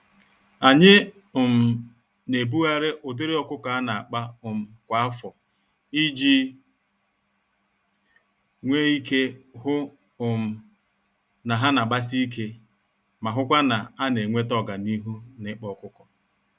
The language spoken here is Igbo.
Anyị um naebugharị ụdịrị ọkụkọ ana-akpa um kwa afọ, iji nwe ike hụ um na ha nagbasi ike, ma hụkwa na ana enweta ọganihu nikpa ọkụkọ